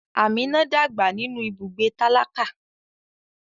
Amina dàgbà nínú ibùgbé tálákà.